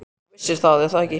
Þú vissir það, er það ekki?